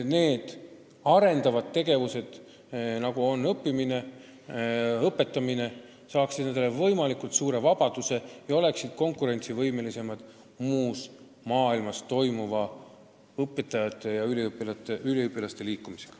Kõik arendavad tegevused, sh õppimine ja õpetamine, peavad toimuma võimalikult suure vabaduse tingimustes ja olema tänu sellele võimelised konkureerima muus maailmas toimuva õpetajate ja üliõpilaste liikumisega.